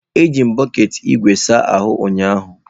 Eji m bọket ígwè saa ahụ ụnyahụ.